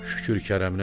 Şükür kərəminə!